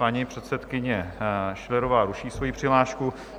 Paní předsedkyně Schillerová ruší svoji přihlášku.